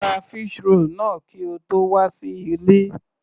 Ra fish roll náà kí o tó wà sí ilé.